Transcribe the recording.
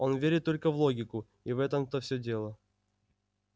он верит только в логику и в этом-то всё дело